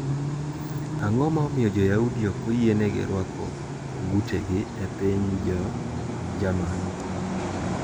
Ang`o ma omiyo Joyaudi ok oyienegi ruako ogutegi e piny Jo Jerman?